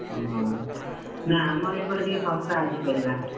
ଓହୋ ନା ଆମର ଏପଟେ ଟିକେ ଶସ୍ତା ଅଛି ପରିବା।